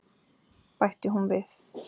bætti hún við.